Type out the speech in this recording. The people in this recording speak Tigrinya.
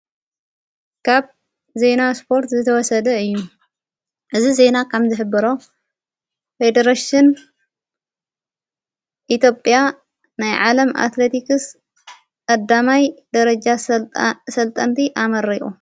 ካብ ዜይና ስጶርት ዘተወሰደ እዩ እዝ ዜይና ካም ዝኅብሮ ኅድረሽን ኢጴያ ናይ ዓለም ኣትለቲክስ ኣዳማይ ደረጃ ሠልጠንቲ ኣመረቁ።